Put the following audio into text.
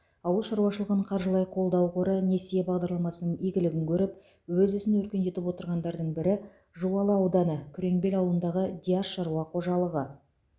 ауыл шаруашылығын қаржылай қолдау қоры несие бағдарламасының игілігін көріп өз ісін өркендетіп отырғандардың бірі жуалы ауданы күреңбел ауылындағы диас шаруа қожалығы